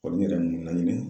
yɛrɛ ninnu